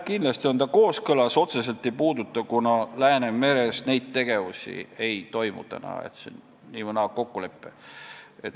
Kindlasti on kooskõlas, otseselt küll ei puuduta, kuna Läänemerel praegu selliseid tegevusi ei toimu, st see on nii või teisiti kokkulepe.